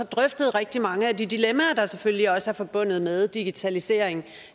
drøftet rigtig mange af de dilemmaer der selvfølgelig også er forbundet med digitalisering